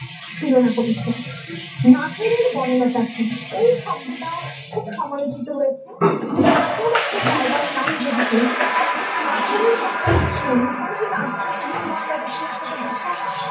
তুলনা করেছেন নাটোরের বনলতা সেন এই শব্দটাও খুব সমালোচিত হয়েছে নাটোর একটা জায়গার নাম যেদিকে কাজে নাটোরের বনলতা সেন তাহলেকি নাটোরে কবি বনলতা সেনের সাথে প্রথম